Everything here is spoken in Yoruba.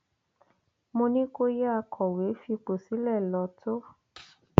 mo ní kó yáa kọwé fipò sílẹ lọ tó